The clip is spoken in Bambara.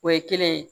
O ye kelen ye